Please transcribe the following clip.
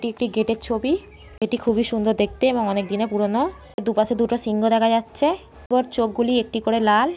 এটি একটি গেট -এর ছবি। এটি খুবই সুন্দর দেখতে এবং অনেক দিনের পুরোনো। দুপাশে দুটো সিংহ দেখা যাচ্ছে। উহার চোখগুলি একটি করে লাল।